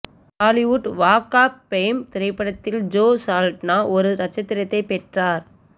Hollywood Walk of Fame திரைப்படத்தில் Zoe Saldana ஒரு நட்சத்திரத்தைப் பெற்றார்